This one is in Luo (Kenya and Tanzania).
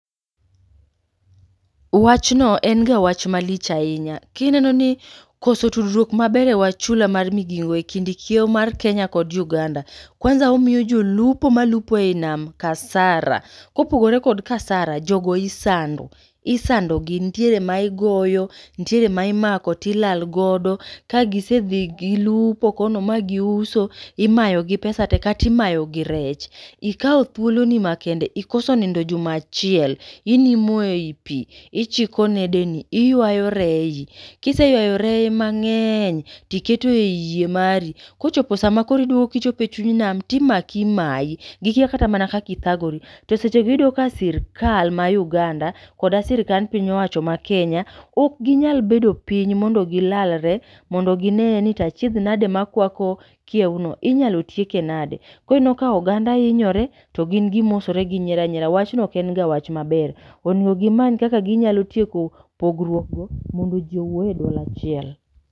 Wachno en ga wach malich ahinya, kineno ni koso tudruok maber e wach chula mar Migingo e kind kiewo mar Kenya kod Uganda. Kwanza omiyo jolupo ma lupo ei nam kasara. Kopogore kod kasara, jogo isando, isando gi, nitiere ma igoyo, nitiere ma imako tilal go. Ka gisedhi gilupo kono ma giuso, imayogi pesa te katimayo gi rech. Ikawo thiolo ni makende, ikoso nindo juma achiel, inimo ei pi, ichiko nede ni, iywayo rei. Kiseywayo reye mang'eny tiketo ei yie mari, kochopo sama koro iduogo kichope chuny nam, timaki imayi. Gikia kata mana kakithagori, to sechego iyudo ka sirkal ma Uganda koda sirikand piny owacho mar Kenya, ok ginyal bedo piny mondo gilalre. Mondo gineye ni tachiedh nade ma kwako kiew no inyalo tieke nade. Koro ineno ka oganda hinyore, to gin gimosore ginyiera nyiera. Wachno ok en ga wach maber, onego gimany kaka ginyalo tieko pogruok go mondo ji owuo e duol achiel.